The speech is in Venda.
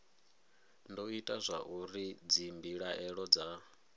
do ita zwauri dzimbilaelo dza